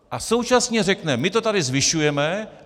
A současně řekne: My to tady zvyšujeme.